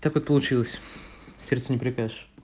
так вот получилось сердцу не прикажешь